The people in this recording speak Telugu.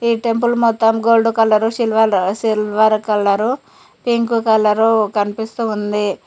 ఈ టెంపుల్ మొత్తం gold colour silver silver colour pink colour కనిపిస్తూ ఉంది.